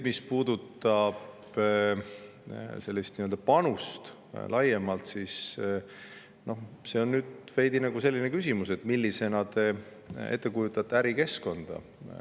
Mis puudutab nii-öelda panust laiemalt, siis see on veidi selline küsimus, et millisena te kujutate ette ärikeskkonda.